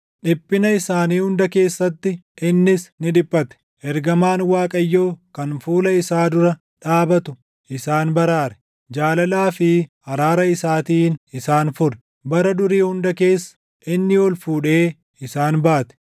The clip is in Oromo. Dhiphina isaanii hunda keessatti, innis ni dhiphate; ergamaan Waaqayyoo kan fuula isaa dura dhaabatu isaan baraare. Jaalalaa fi araara isaatiin isaan fure; bara durii hunda keessa, inni ol fuudhee isaan baate.